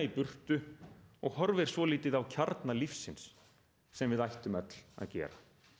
burtu og horfir svolítið á kjarna lífsins sem við ættum öll að gera